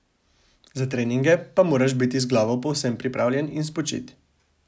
Za treninge pa moraš biti z glavo povsem pripravljen in spočit.